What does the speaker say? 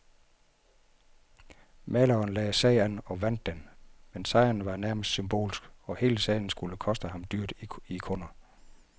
Maleren lagde sag an og vandt den, men sejren var nærmest symbolsk, og hele sagen skulle koste ham dyrt i kunder.